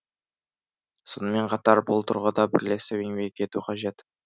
сонымен қатар бұл тұрғыда бірлесіп еңбек ету қажет